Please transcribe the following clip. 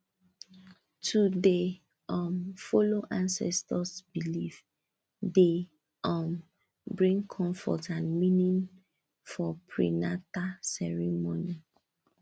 to dey um follow ancestors belief dey um bring comfort and meaning for prenata ceremony